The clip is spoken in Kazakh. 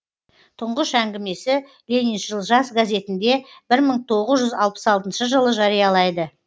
тұңғыш әңгімесі лениншіл жас газетінде бір мың тоғыз жүз алпыс алтыншы жылы жариялайды